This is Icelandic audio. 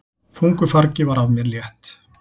Þungu fargi var af mér létt!